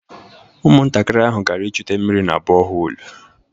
Ụmụntakịrị ahụ gara ịchute mmiri na bọhoolu